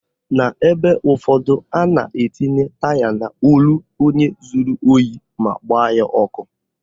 N'ebe ụfọdụ, a na-etinye taya n'olu onye zuru ohi ma gbaa ya ọkụ